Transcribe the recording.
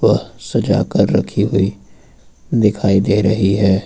वह सजाकर रखी हुई दिखाई दे रही है।